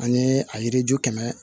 Ani a yiriju kɛmɛ